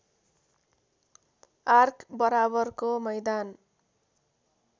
arc बराबरको मैदान